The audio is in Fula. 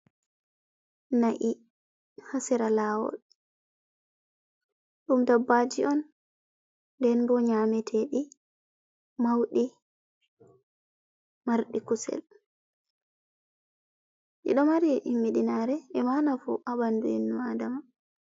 Na’i haa sera laawol, ɗum dabbaji on nden bo nyameteɗi, mauɗi marɗi kusel, ɗiɗo mari himmiɗi naare e ma nafu haa ɓandu inno nnu adama.